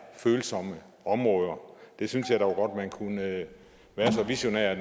følsomme områder jeg synes dog man kunne være så visionær at